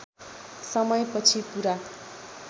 समय पछि पूरा